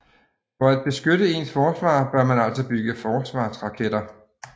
For at beskytte ens forsvar bør man altså bygge forsvarsraketter